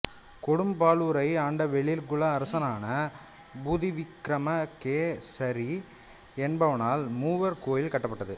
கொடும்பாளூரை ஆண்ட வேளிர் குல அரசனான பூதிவிக்கிரமகேசரி என்பவனால் மூவர் கோயில் கட்டப்பட்டது